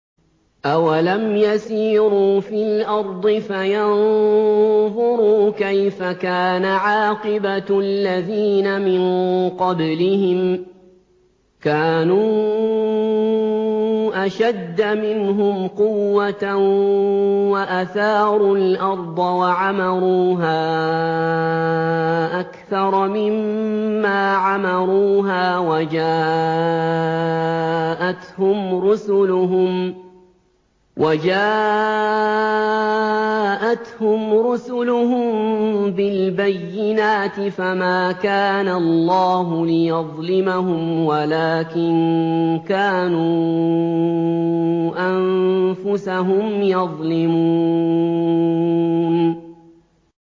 أَوَلَمْ يَسِيرُوا فِي الْأَرْضِ فَيَنظُرُوا كَيْفَ كَانَ عَاقِبَةُ الَّذِينَ مِن قَبْلِهِمْ ۚ كَانُوا أَشَدَّ مِنْهُمْ قُوَّةً وَأَثَارُوا الْأَرْضَ وَعَمَرُوهَا أَكْثَرَ مِمَّا عَمَرُوهَا وَجَاءَتْهُمْ رُسُلُهُم بِالْبَيِّنَاتِ ۖ فَمَا كَانَ اللَّهُ لِيَظْلِمَهُمْ وَلَٰكِن كَانُوا أَنفُسَهُمْ يَظْلِمُونَ